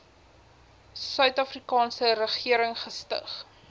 suidafrikaanse regering gestig